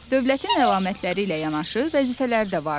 Dövlətin əlamətləri ilə yanaşı vəzifələri də vardır.